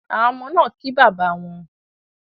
Awon omo naa ki baba won